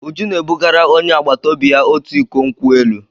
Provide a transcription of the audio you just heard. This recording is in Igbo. Uju na-ebugara onye agbata obi ya otu iko nkwụ elụ.